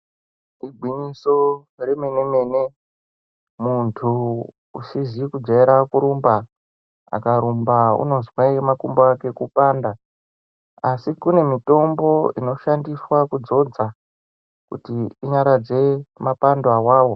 Igwinyiso remene-mene muntu usizi kujaira kurumba, akarumba unozwe makumbo ake kupanda. Asi kune mitombo inoshandiswe kudzodza kuti inyaradze mapando awawo.